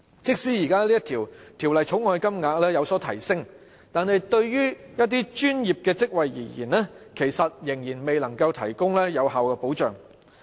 即使這項《條例草案》所訂的款項有所提升，但對於一些專業職位而言，其實仍然未能對他們提供有效保障。